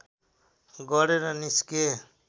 गरेर निस्के